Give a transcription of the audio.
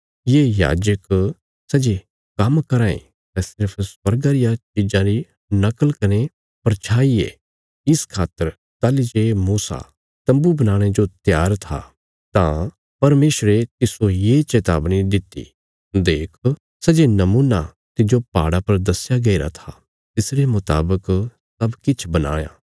ये याजक सै जे काम्म कराँ ये सै सिर्फ स्वर्गा रिया चिज़ां री नकल कने परछाई ये इस खातर ताहली जे मूसा तम्बू बनाणे जो त्यार था तां परमेशरे तिस्सो ये चेतावनी दित्ति देख सै जे नमुना तिज्जो पहाड़ा पर दस्या गईरा था तिसरे मुतावक सब किछ बनाणा